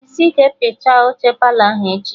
Jisi ike piachaa oche Palọ ahụ echi!